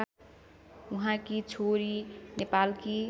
उहाँकी छोरी नेपालकी